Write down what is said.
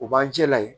O b'an jɛla yen